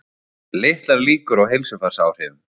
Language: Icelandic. Litlar líkur á heilsufarsáhrifum